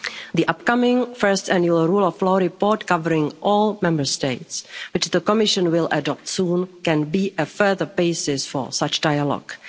The upcoming first annual Rule of Law Report, covering all Member States, which the Commission will adopt soon, can be a further basis for such dialogue.